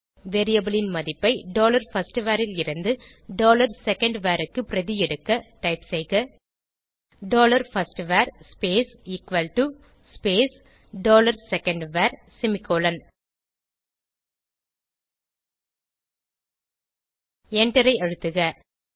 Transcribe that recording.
variable ன் மதிப்பை dollar first var லிருந்து டாலர் செகண்ட்வர் க்கு பிரதி எடுக்க டைப் செய்க dollar first var space equal to space dollar second var semicolon எண்டரை அழுத்துக